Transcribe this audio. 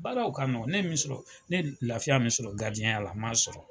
Baaraw ka nɔgɔ ne ye min sɔrɔ ,ne ye lafiya min sɔrɔ garidiɲɛnya la n m'a sɔrɔ.